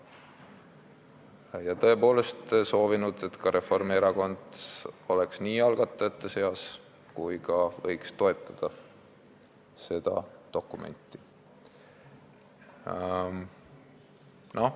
Me oleme tõepoolest soovinud, et ka Reformierakond oleks nii algatajate seas kui ka toetaks seda dokumenti.